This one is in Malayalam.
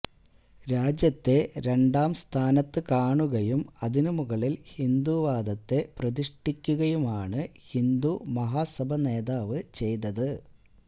രാജ്യത്തെ രണ്ടാം സ്ഥാനത്തു കാണുകയും അതിനുമുകളില് ഹിന്ദുവാദത്തെ പ്രതിഷ്ഠിക്കുകയുമാണ് ഹിന്ദുമഹാസഭ നേതാവ് ചെയ്തത്